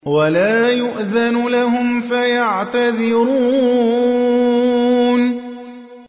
وَلَا يُؤْذَنُ لَهُمْ فَيَعْتَذِرُونَ